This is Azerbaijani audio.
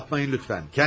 Yapmayın lütfən.